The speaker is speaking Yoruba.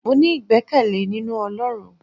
mo ní igbekele ninú olorún